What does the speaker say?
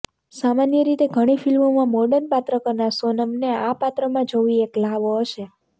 સામાન્ય રીતે ઘણી ફિલ્મોમાં મોર્ડન પાત્ર કરનાર સોનમને આ પાત્રમાં જોવી એક લ્હાવો હશે